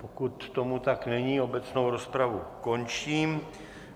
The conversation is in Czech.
Pokud tomu tak není, obecnou rozpravu končím.